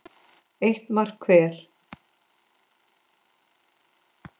Eitt mark hver.